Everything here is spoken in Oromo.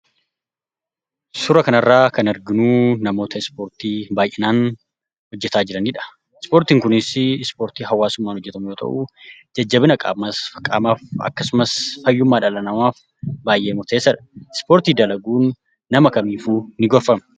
Suuraa kanarra kan arginu namoota ispoortii baay'inaan hojjechaa jiranidha. ispoortiin kunis ispoortii hawaasumman hojjetamu yoo ta'u, jajjabina qaamasf akkasumas, fayyummaa dhala namaaf baay'ee murteessadha. ispoortii dalaguun nama kamiifuu ni goorfama.